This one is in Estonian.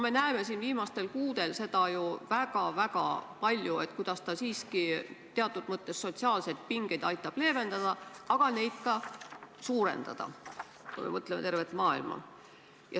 " Me näeme viimastel kuudel ju väga palju, kuidas see siiski teatud mõttes sotsiaalseid pingeid aitab leevendada, aga neid ka suurendada, kui me mõtleme tervet maailma.